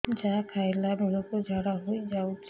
ଯାହା ଖାଇଲା ବେଳକୁ ଝାଡ଼ା ହୋଇ ଯାଉଛି